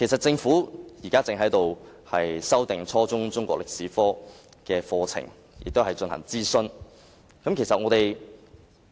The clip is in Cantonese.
政府現正就修訂初中中史科課程進行諮詢。